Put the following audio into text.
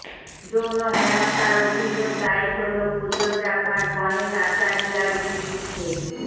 যৌন হেনস্থার অভিযোগ দায়ের হল কোরিওগ্রাফার গণেশ আচারিয়ার বিরুদ্ধে